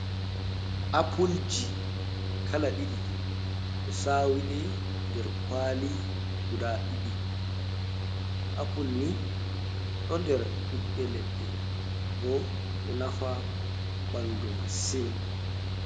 Apple ji kala ɗiɗi ɓe sawi ɗe nder kwali guda ɗiɗi, apple ni ɗo nder ɓiɓbe leɗɗe bo ɗo nafa ɓandu masin.